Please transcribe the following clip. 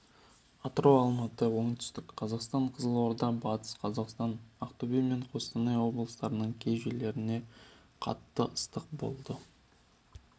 атырау алматы оңтүстік қазақстан қызылорда батыс қазақстан ақтөбе мен қостанай облыстарының кей жерлерінде қатты ыстық болады